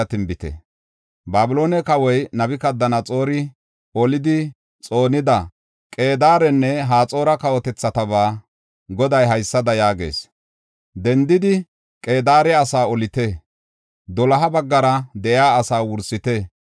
Babiloone kawoy Nabukadanaxoori olidi xoonida Qedaarenne Haxoora kawotethatabaa Goday haysada yaagees; “Dendidi, Qedaare asaa olite; doloha baggara de7iya asaa wursite.